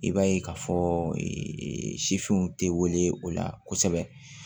I b'a ye k'a fɔ sifinw tɛ wele o la kosɛbɛ